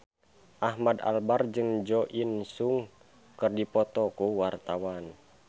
Ahmad Albar jeung Jo In Sung keur dipoto ku wartawan